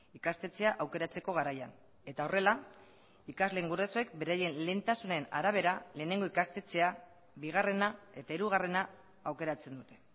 ikastetxea aukeratzeko garaian eta horrela ikasleen gurasoek beraien lehentasunen arabera lehenengo ikastetxea bigarrena eta hirugarrena aukeratzen dute